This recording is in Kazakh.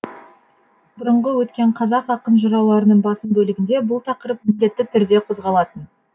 бұрынғы өткен қазақ ақын жырауларының басым бөлігінде бұл тақырып міндетті түрде қозғалатын